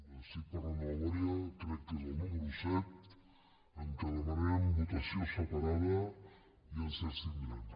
estic parlant de memòria crec que és el número set en què demanarem votació separada i ens abstindrem